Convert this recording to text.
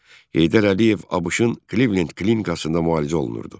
Heydər Əliyev ABŞ-ın Klivlend klinikasında müalicə olunurdu.